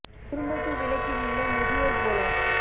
குடும்பத்து விளக்கிலுள்ள முதியோர் போல